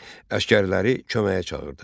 Əsgərləri köməyə çağırdı.